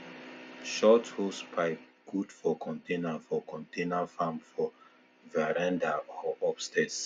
short hosepipe good for container for container farm for veranda or upstairs